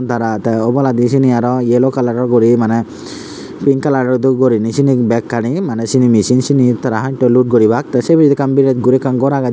dara de oboladi seni aro yellow kalaror guri maneh pink kalaror dol gurinei sini bekkani maneh sini mesin sini tara haltoi lut guribak tey se pijedi ekkan biret guri ekkan gor agey.